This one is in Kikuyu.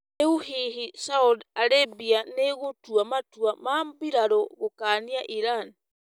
Rĩu hihi Saudi Arabia nĩĩgũtua matua ma mbirarũ gũkania Iran?